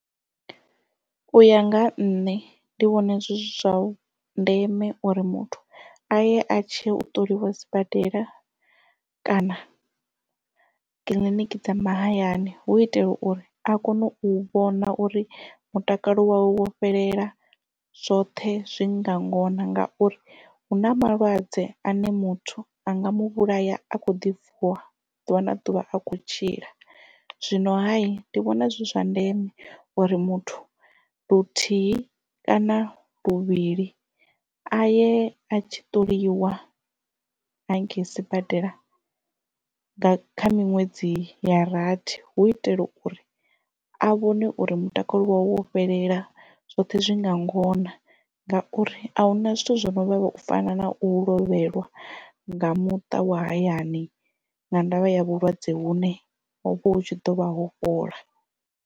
Uya nga ha nṋe ndi vhona zwi zwa ndeme uri muthu aye a tshi u ṱoliwa sibadela kana kiḽiniki dza mahayani hu itela uri a kone u vhona uri mutakalo wo fhelela zwoṱhe zwi nga ngona ngauri hu na malwadze ane muthu anga mu vhulaya a kho ḓi vuwa ḓuvha na ḓuvha a kho tshila zwino hayi ndi vhona zwi zwa ndeme uri muthu luthihi kana luvhili a ye a tshi ṱoliwa hangei sibadela kha miṅwedzi ya rathi hu itela uri a vhone uri mutakalo wa we wo fhelela zwoṱhe zwi nga ngona ngauri a huna zwithu zwi no vhavha u fana na u lovhelwa nga muṱa wa hayani nga ndavha ya vhulwadze vhu ne hovha hu tshi ḓovha ho fhola.